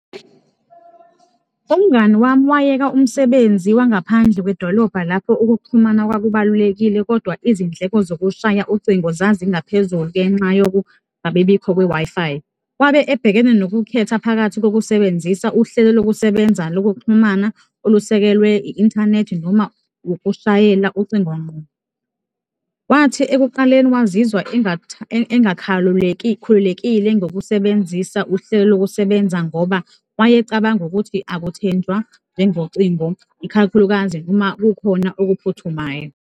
Umngani wami wayeka umsebenzi wangaphandle kwedolobha lapho ukuxhumana kwakubalulekile kodwa izindleko zokushaya ucingo zazingaphezulu ngenxa yokungabibikho kwe-Wi-Fi. Wabe ebhekene nokukhetha phakathi kokusebenzisa uhlelo lokusebenza lokuxhumana olusekelwe i-inthanethi noma ukushayela ucingo ngqo. Wathi ekuqaleni wazizwa engakhululekile ngokusebenzisa uhlelo lokusebenza ngoba wayecabanga ukuthi akuthenjwa njengocingo, ikhakhulukazi uma kukhona okuphuthumayo.